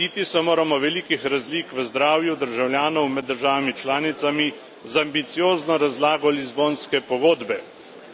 Lotiti se moramo velikih razlik v zdravju državljanov med državami članicami z ambiciozno razlago Lizbonske pogodbe.